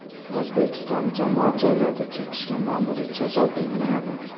O‘zbekiston jamoat joylarida chekishga ma’muriy jazo belgilanadi.